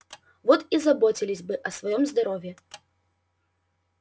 вот и заботились бы о своём здоровье